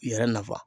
Yɛrɛ nafa